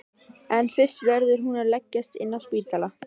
En fyrst verður hún að leggjast inn á spítala.